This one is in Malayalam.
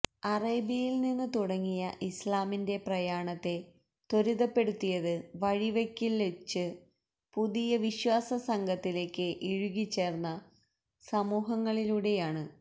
അറേബ്യയില്നിന്ന് തുടങ്ങിയ ഇസ്ലാമിന്റെ പ്രയാണത്തെ ത്വരിതപ്പെടുത്തിയത് വഴിവെക്കില്വെച്ച് പുതിയ വിശ്വാസ സംഘത്തിലേക്ക് ഇഴുകിച്ചേര്ന്ന സമൂഹങ്ങളിലൂടെയാണ്